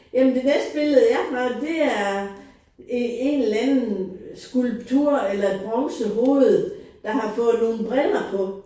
Jamen det næste billede jeg har det er en eller anden skulptur eller et bronzehoved der har fået nogen briller på